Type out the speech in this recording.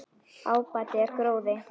Ábati er gróði.